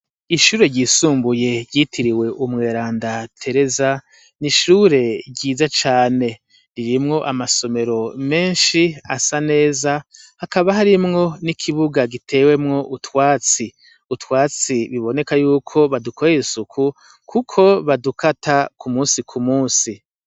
Ishure ryisumbuye ryitiriwe Umweranda Tereza ni ishure ryiza cane. Ririmwo amasomero menshi asa neza, hakaba harimwo n'ikibuga gitewemwo utwatsi. Utwatsi biboneka y'uko badukorera isuku kuko badukata ku munsi ku munsi.